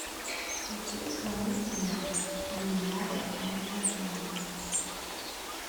включи исполнителя мияги энди панда